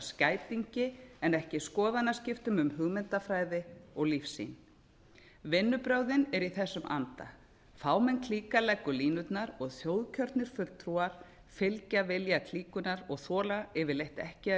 skætingi en ekki skoðanaskiptum um hugmyndafræði og lífssýn vinnubrögðin eru í þessum anda fámenn klíka leggur línurnar og þjóðkjörnir fulltrúar fylgja vilja klíkunnar og þola yfirleitt ekki að